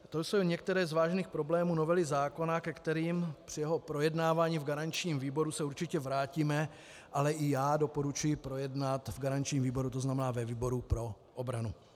To jsou některé z vážných problémů novely zákona, ke kterým při jeho projednávání v garančním výboru se určitě vrátíme, ale i já doporučuji projednat v garančním výboru, to znamená ve výboru pro obranu.